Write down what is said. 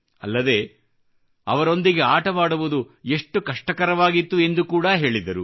ಅಲ್ಲದೇ ಅವರೊಂದಿಗೆ ಆಟವಾಡುವುದು ಎಷ್ಟು ಕಷ್ಟಕರವಾಗಿತ್ತು ಎಂದು ಕೂಡಾ ಹೇಳಿದರು